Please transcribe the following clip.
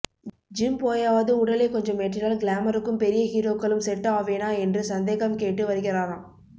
gym போயாவது உடலை கொஞ்சம் ஏற்றினால் கிளாமருக்கும் பெரிய ஹீரோக்களும் செட் ஆவேனா என்று சந்தேகம் கேட்டு வருகிறாராம்